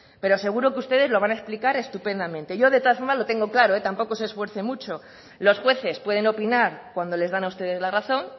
pero seguro que ustedes lo van a explicar estupendamente yo de todas formas lo tengo claro tampoco se esfuerce mucho los jueces pueden opinar cuando les dan a ustedes la razón